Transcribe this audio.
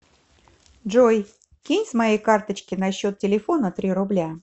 джой кинь с моей карточки на счет телефона три рубля